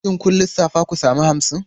Shin kun lissafta ku sami hamsin?